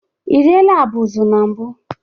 Ị riela abụzụ na mbụ?